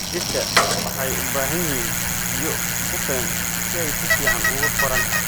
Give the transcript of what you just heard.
Dhirta waxay u baahan yihiin biyo ku filan si ay si fiican ugu koraan.